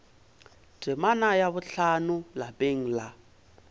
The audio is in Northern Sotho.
temana ya bohlano lapeng la